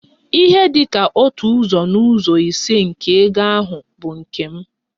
Ihe dị ka otu ụzọ n'ụzọ ise nke ego ahụ bụ nke m.